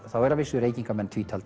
eru að vísu Reykvíkingar